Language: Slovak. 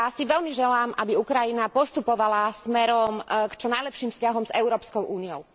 Veľmi si želám, aby Ukrajina postupovala smerom k čo najlepším vzťahom s Európskou úniou.